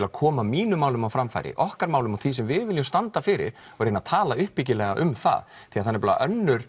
að koma mínum málum á framfæri okkar málum og því sem við viljum standa fyrir og reyna að tala uppbyggilega um það því það er önnur